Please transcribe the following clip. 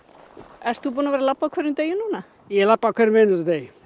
ert þú búinn að vera að labba á hverjum degi ég labba á hverjum einasta degi